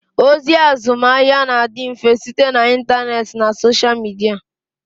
Ozi azụmahịa na-adị mfe site na intaneet na soshal midia